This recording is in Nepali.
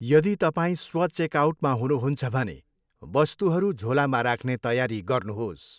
यदि तपाईँ स्व चेकआउटमा हुनुहुन्छ भने, वस्तुहरू झोलामा राख्ने तयारी गर्नुहोस्।